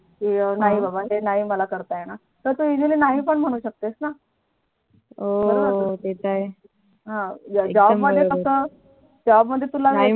नाही बा बा नाही मला हे नाही करता येत Easily नाही पण म्हणू शकतेस ना हो ते तर आहे मध्ये कस Job मध्ये तुला